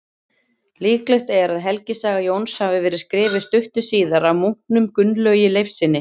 Líklegt er að helgisaga Jóns hafi verið skrifuð stuttu síðar af munknum Gunnlaugi Leifssyni.